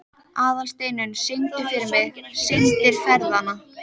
Aðalsteinunn, syngdu fyrir mig „Syndir feðranna“.